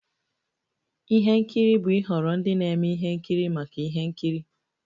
Ihe nkiri bụ ịhọrọ ndị na-eme ihe nkiri maka ihe nkiri.